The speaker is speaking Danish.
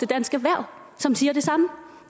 dansk erhverv som siger det samme